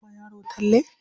Za ka iya kama da yaran Talle?